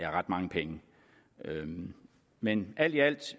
er ret mange penge men alt i alt